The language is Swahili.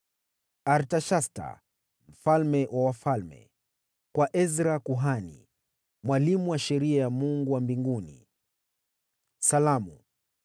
Artashasta, mfalme wa wafalme, Kwa Ezra kuhani, mwalimu wa Sheria ya Mungu wa mbinguni: Salamu.